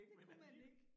Det kunne man ikke